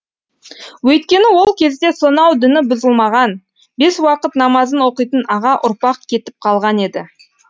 өйткені ол кезде сонау діні бұзылмаған бес уақыт намазын оқитын аға ұрпақ кетіп қалған еді